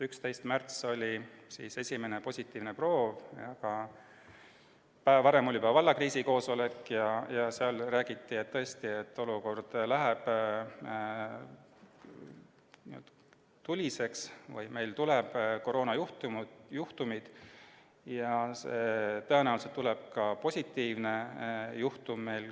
11. märtsil tuli esimene positiivne proov, aga juba päev varem oli toimunud valla kriisikoosolek ja seal räägiti, et olukord läheb tuliseks ja tõenäoliselt tuleb kohe-kohe esimene positiivne juhtum.